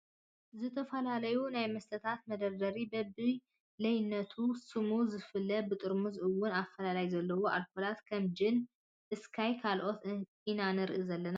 ዝተፈላለዩ ናይ መስተታት መደርደሪ በቢ ላይነቱን ስሙ ዝፈላለ ብጥርሙዙ እውን ኣፈላላይ ዘለዎ ኣልኮላት ከም ጅን፣ ስካይ ካልኦትን ኢና ንርኢ ዘለና ።